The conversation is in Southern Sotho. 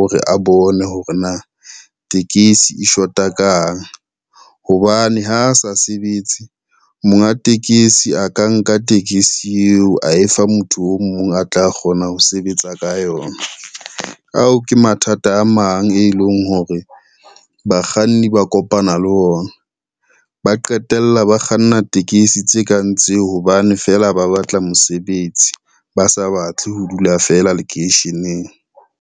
ore a bone hore na tekesi e shota kang, hobane ha a sa sebetse monga tekesi a ka nka tekesi eo a e fa motho o mong a tla kgona ho sebetsa ka yona. Ao ke mathata a mang e leng hore bakganni ba kopana le ona, ba qetella ba kganna tekesi tse kang tseo hobane fela ba batla mosebetsi, ba sa batle ho dula feela lekeisheneng.